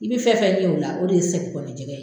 I bɛ fɛn fɛn ɲɛ o la o de ye segi kɔnɔ jɛgɛ ye.